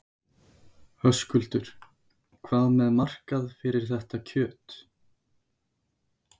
Höskuldur: Hvað með markað fyrir þetta kjöt?